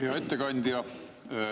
Hea ettekandja!